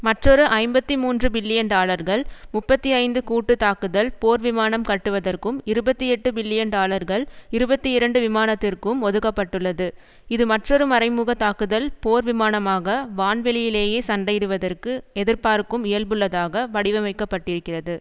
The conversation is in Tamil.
மற்றொரு ஐம்பத்தி மூன்று பில்லியன் டாலர்கள் முப்பத்தி ஐந்து கூட்டு தாக்குதல் போர் விமானம் கட்டுவதற்கும் இருபத்தி எட்டு பில்லியன் டாலர்கள் இருபத்தி இரண்டு விமானத்திற்கும் ஒதுக்க பட்டுள்ளது இது மற்றொரு மறை முக தாக்குதல் போர் விமானமாக வான்வெளியிலேயே சண்டையிடுவதற்கு எதிர்பார்க்கும் இயல்புள்ளதாக வடிவமைக்கப்பட்டிருக்கிறது